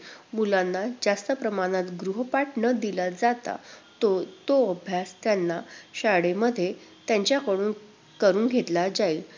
मुलांना जास्त प्रमाणात गृहपाठ न दिला जाता, तोच तोच अभ्यास त्यांना शाळेमध्ये त्यांच्याकडून करुन घेतला जाईल.